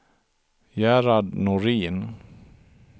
Gerhard Norin